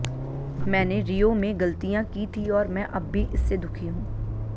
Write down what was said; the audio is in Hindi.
मैंने रियो में गलतियां की थी और मैं अब भी इससे दुखी हूं